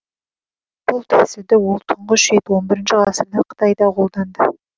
бұл тәсілді ол тұңғыш рет он бірінші ғасырда қытайда қолданды